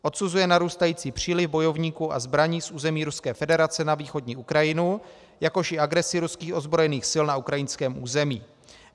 Odsuzuje narůstající příliv bojovníků a zbraní z území Ruské federace na východní Ukrajinu, jakož i agresi ruských ozbrojených sil na ukrajinském území.